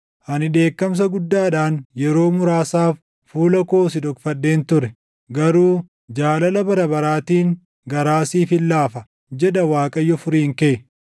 Ani dheekkamsa guddaadhaan yeroo muraasaaf fuula koo si dhokfadheen ture; garuu jaalala bara baraatiin, garaa siifin laafa” jedha Waaqayyo Furiin kee.